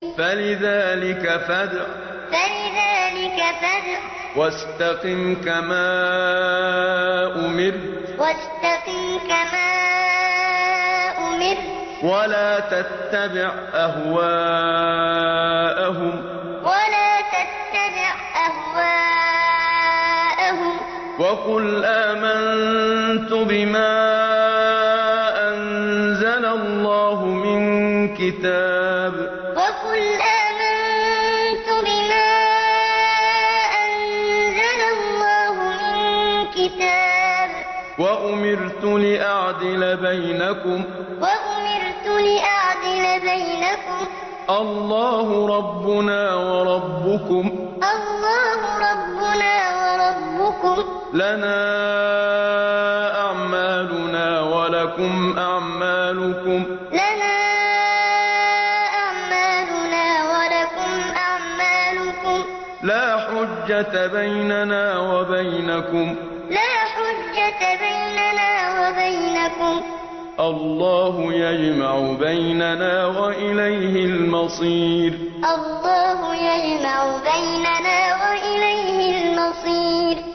فَلِذَٰلِكَ فَادْعُ ۖ وَاسْتَقِمْ كَمَا أُمِرْتَ ۖ وَلَا تَتَّبِعْ أَهْوَاءَهُمْ ۖ وَقُلْ آمَنتُ بِمَا أَنزَلَ اللَّهُ مِن كِتَابٍ ۖ وَأُمِرْتُ لِأَعْدِلَ بَيْنَكُمُ ۖ اللَّهُ رَبُّنَا وَرَبُّكُمْ ۖ لَنَا أَعْمَالُنَا وَلَكُمْ أَعْمَالُكُمْ ۖ لَا حُجَّةَ بَيْنَنَا وَبَيْنَكُمُ ۖ اللَّهُ يَجْمَعُ بَيْنَنَا ۖ وَإِلَيْهِ الْمَصِيرُ فَلِذَٰلِكَ فَادْعُ ۖ وَاسْتَقِمْ كَمَا أُمِرْتَ ۖ وَلَا تَتَّبِعْ أَهْوَاءَهُمْ ۖ وَقُلْ آمَنتُ بِمَا أَنزَلَ اللَّهُ مِن كِتَابٍ ۖ وَأُمِرْتُ لِأَعْدِلَ بَيْنَكُمُ ۖ اللَّهُ رَبُّنَا وَرَبُّكُمْ ۖ لَنَا أَعْمَالُنَا وَلَكُمْ أَعْمَالُكُمْ ۖ لَا حُجَّةَ بَيْنَنَا وَبَيْنَكُمُ ۖ اللَّهُ يَجْمَعُ بَيْنَنَا ۖ وَإِلَيْهِ الْمَصِيرُ